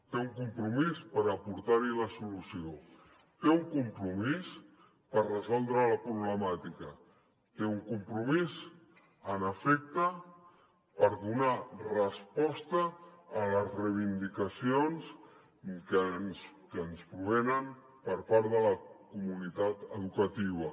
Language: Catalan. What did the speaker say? té un compromís per aportar hi la solució té un compromís per resoldre la problemàtica té un compromís en efecte per donar resposta a les reivindicacions que ens provenen per part de la comunitat educativa